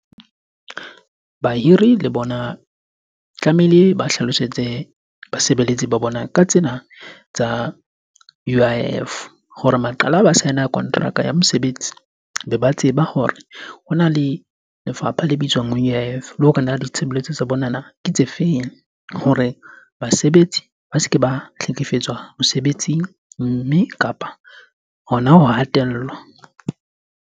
Bahiri le bona tlamehile ba hlalosetse basebeletsi ba bona ka tsena tsa U_I_F hore maqala ba sign- kontraka ya mosebetsi, be ba tseba hore hona le lefapha le bitswang U_I_F le ho re na le ditshebeletso tsa bona na ke tse feng? Hore basebetsi ba se ke ba hlekefetswa mosebetsing, mme kapa hona ho hatellwa.